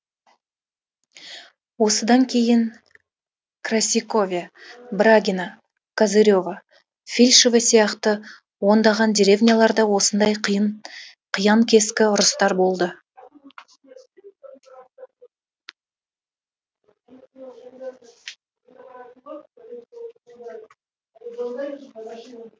осыдан кейін красикове брагино козырево фильшево сияқты ондаған деревняларда осындай қиян кескі ұрыстар болды